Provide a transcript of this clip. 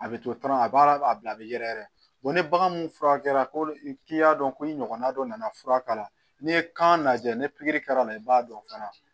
A bɛ to tɔnɔ a b'a bila a bɛ yɛrɛ yɛrɛ ni bagan min furakɛra ko k'i y'a dɔn ko i ɲɔgɔnna dɔ nana fura k'a la n'i ye kan lajɛ ni pikiri kɛra a la i b'a dɔn fana